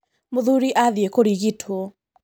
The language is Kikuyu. Mũthuri athiĩ kũrigitwo.